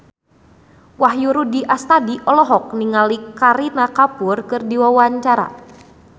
Wahyu Rudi Astadi olohok ningali Kareena Kapoor keur diwawancara